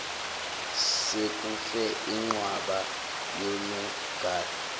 sekufe inqwaba yonogada